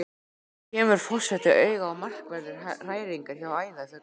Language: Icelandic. Enn kemur forseti auga á markverðar hræringar hjá æðarfuglinum.